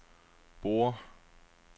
Borre